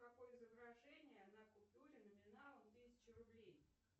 какое изображение на купюре номиналом тысяча рублей